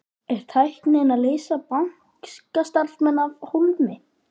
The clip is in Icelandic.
Er tæknin að leysa bankastarfsmanninn af hólmi?